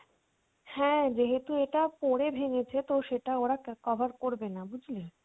হ্যাঁ যেহেতু এটা পড়ে ভেঙ্গেছে তো সেটা ওরা ক্যা~ cover করবেনা বুঝলি?